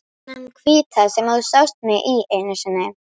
Þennan hvíta sem þú sást mig í einu sinni.